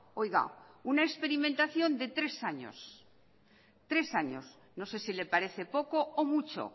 oiga una experimentación de tres años tres años no sé si le parece poco o mucho